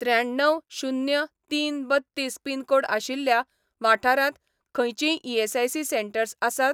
त्र्याण्णव शून्य तीन बत्तीस पिनकोड आशिल्ल्या वाठारांत खंयचींय ईएसआयसी सेटंर्स आसात?